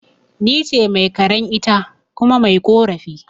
Nice Mai karan, ita kuma mai ƙorafi